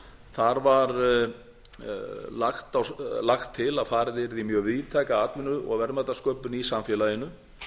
þar var lagt til að farið yrði í mjög víðtæka atvinnu og verðmætasköpun í samfélaginu